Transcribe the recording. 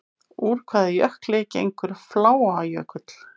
Úr hvaða jökli gengur Fláajökull?